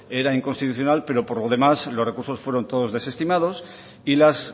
eran inconstitucional pero por lo demás los recursos fueron todos desestimados y las